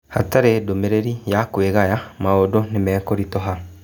"Hatarĩ ndũmĩrĩri ya kwĩgaya maũndũ nĩmekũritũha".